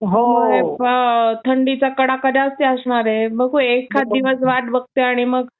थंडीचा कडाका जास्त असणारे, बघू आता एखाद दिवस वाट बघते आणि मग